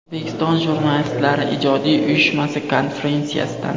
O‘zbekiston Jurnalistlari ijodiy uyushmasi konferensiyasidan.